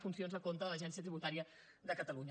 funcions a compte de l’agència tributària de catalunya